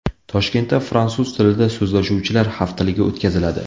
Toshkentda Fransuz tilida so‘zlashuvchilar haftaligi o‘tkaziladi.